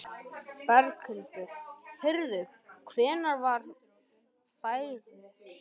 Berghildur: Heyrðu, hvernig var færið?